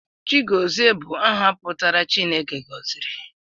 Chigọziri bụ aha pụtara 'Chineke gọziri'